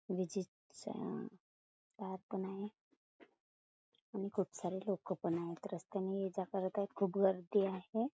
विजेच्या तार पण आहे आणि खूप सारे लोक पण आहेत रस्त्याने ये जा करत आहे खूप गर्दी आहे.